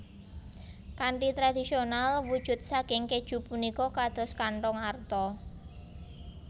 Kanthi tradisional wujud saking kèju punika kados kanthong arta